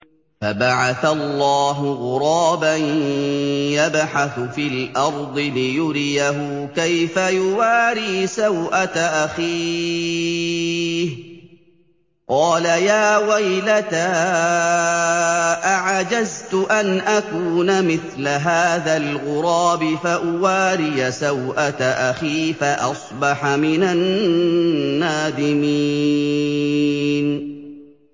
فَبَعَثَ اللَّهُ غُرَابًا يَبْحَثُ فِي الْأَرْضِ لِيُرِيَهُ كَيْفَ يُوَارِي سَوْءَةَ أَخِيهِ ۚ قَالَ يَا وَيْلَتَا أَعَجَزْتُ أَنْ أَكُونَ مِثْلَ هَٰذَا الْغُرَابِ فَأُوَارِيَ سَوْءَةَ أَخِي ۖ فَأَصْبَحَ مِنَ النَّادِمِينَ